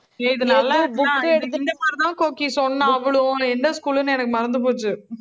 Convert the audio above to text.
ஏய் இது நல்லா~, இந்த மாதிரிதான் கோக்கி சொன்னா, அவளும் எந்த school ன்னு, எனக்கு மறந்து போச்சு